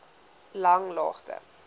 langlaagte